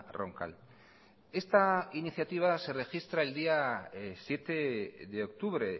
roncal esta iniciativa se registra el día siete de octubre